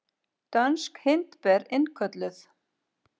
Dönsk hindber innkölluð